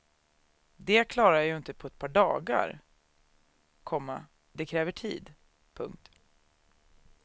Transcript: Det klarar jag ju inte på ett par dagar, komma det kräver tid. punkt